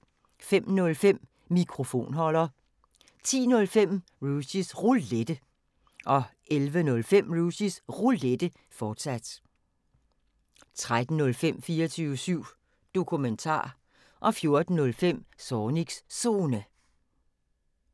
05:05: Mikrofonholder 10:05: Rushys Roulette 11:05: Rushys Roulette, fortsat 13:05: 24syv Dokumentar 14:05: Zornigs Zone